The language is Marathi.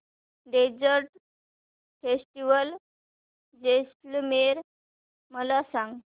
डेजर्ट फेस्टिवल जैसलमेर मला सांग